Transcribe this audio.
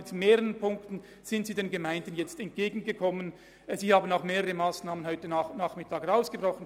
Sie sind den Gemeinden schon in mehreren Punkten entgegengekommen.